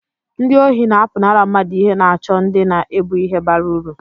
ndị ohi na-apụnara mmadụ ihe na-àchọ ndị na-ébu ihe bara uru